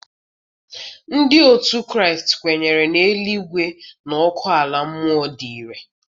Ndị otu Kraịst kwenyere na eluigwe na ọkụ ala mmụọ dị irè.